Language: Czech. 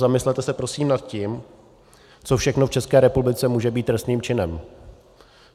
Zamyslete se prosím nad tím, co všechno v České republice může být trestným činem.